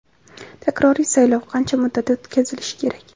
Takroriy saylov qancha muddatda o‘tkazilishi kerak?.